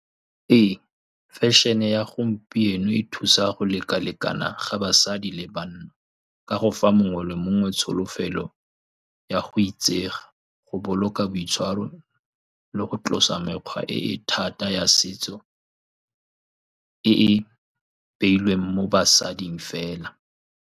Ee, fashion-e ya gompieno e thusa go lekalekana ga basadi le banna ka go fa mongwe le mongwe tsholofelo ya go itsega, go boloka boitshwaro, le go tlosa mekgwa e e thata ya setso e e beilweng mo basading fela.